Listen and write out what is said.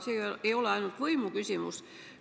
Ma ei pea silmas ainult võimu küsimust.